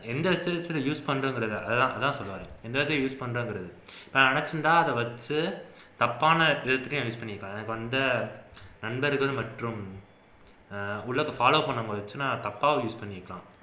எந்த விசயத்துல use பண்றது அதான் அதுதான் சொல்ல வரேன் use பண்ணறது நான் நினைச்சிருந்தா அதை வச்சு தப்பான விதத்துலேயும் use பண்ணிருப்பேன் எனக்கு வந்த நண்பர்கள் மற்றும் உலகம் follow பண்ணாம இருந்திருந்துச்சுனா தப்பாவும் use பண்ணிருக்கலாம்